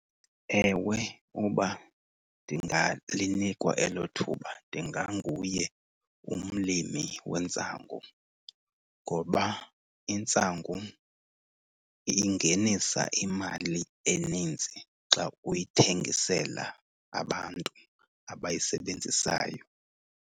Ewe, uba ndingalinikwa elo thuba ndinganguye umlimi wentsangu. Ngoba intsangu ingenisa imali enintsi xa uyithengisela abantu abayisebenzisayo.